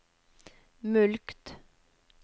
mulkt